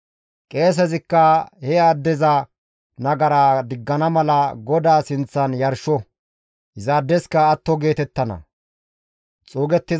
Qeesezikka he addeza nagara diggana mala GODAA sinththan yarsho; izaadeska atto geetettana.»